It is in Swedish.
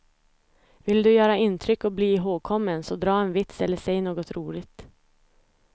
Vill du göra intryck och bli ihågkommen så dra en vits eller säg något roligt.